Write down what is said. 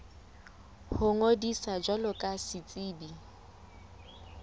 ho ngodisa jwalo ka setsebi